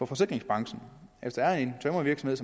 forsikringsbranchen hvis der er en tømrervirksomhed